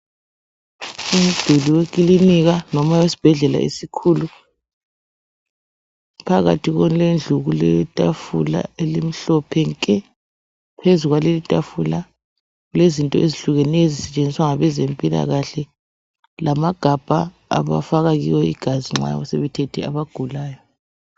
Umduli wekilinika loba esibhedlela esikhulu phakathi kwendlu kuletafula emhlophe nke. Phezu kwalelitafula kulezinto ezehlukeneyo ezisetshenziswa ngabezempilakahle lamagabha abafaka kuwo igazi nxa sebethethe abagulayo.